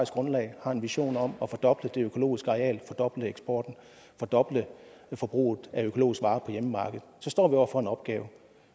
grundlag har en vision om at fordoble det økologiske areal fordoble eksporten fordoble forbruget af økologiske varer på hjemmemarkedet står vi over for en opgave